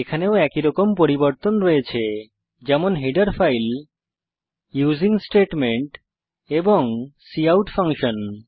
এখানেও একইরকম পরিবর্তন রয়েছে যেমন হেডার ফাইল ইউসিং স্টেটমেন্ট এবং কাউট ফাংশন